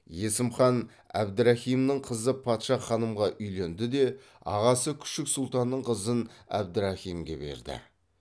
есім хан әбдірахимнің қызы патша ханымға үйленді де ағасы күшік сұлтанның қызын әбдірахимге берді